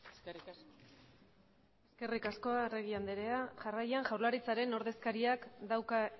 eskerrik asko eskerrik asko arregi anderea jarraian jaurlaritzaren ordezkariak dauka